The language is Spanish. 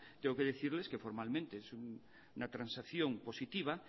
tengo que decirles que formalmente es una transacción positiva